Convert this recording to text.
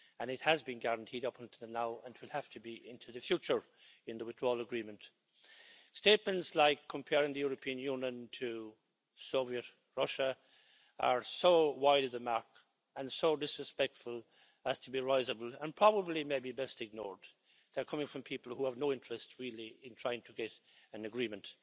It has been guaranteed up until now and it will have to be into the future in the withdrawal agreement. Statements like comparing the European Union to Soviet Russia are so wide of the mark and so disrespectful as to be risible and probably, maybe, best ignored. They are coming from people who have no interest really in trying to get an agreement.